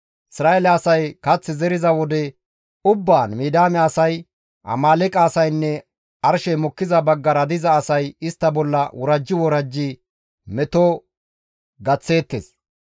Isra7eele asay kath zeriza wode ubbaan Midiyaame asay, Amaaleeqe asaynne arshey mokkiza baggara diza asay istta bolla worajji worajji meto gaththeettes.